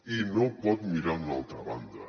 i no pot mirar a una altra banda